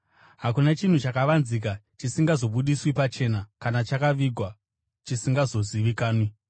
Hakuna chinhu chakavanzika chisingazobudiswi pachena, kana chakavigwa chisingazozivikanwi.